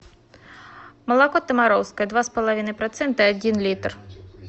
молоко томаровское два с половиной процента один литр